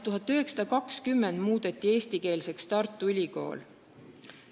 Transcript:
1920. aastal muudeti Tartu Ülikool eestikeelseks.